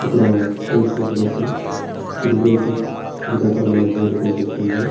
ఇక్కడ చూసినట్లయితే triple IT Srikakulam అనే బోర్డు కనిపిస్తుంది.